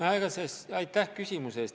Aitäh küsimuse eest!